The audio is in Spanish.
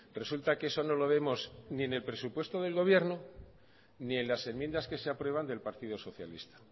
resulta que eso no lo vemos ni en el presupuesto del gobierno ni en las enmiendas que se aprueban del partido socialista